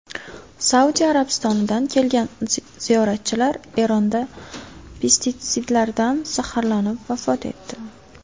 Saudiya Arabistonidan kelgan ziyoratchilar Eronda pestitsidlardan zaharlanib vafot etdi.